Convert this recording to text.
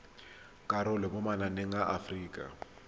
karolo mo mananeng a aforika